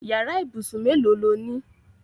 Yàrá ìbúsùn mélòó lo ní?